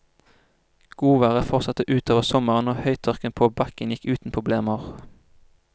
Godværet fortsatte utover sommeren og høytørken på bakken gikk uten problemer.